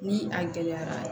Ni a gɛlɛyara